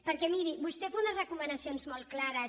perquè miri vostè fa unes recomanacions molt clares